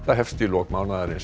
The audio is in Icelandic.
hefst í lok mánaðarins